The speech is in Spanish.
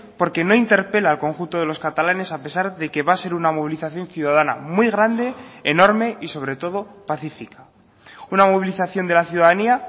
porque no interpela al conjunto de los catalanes a pesar de que va a ser una movilización ciudadana muy grande enorme y sobre todo pacífica una movilización de la ciudadanía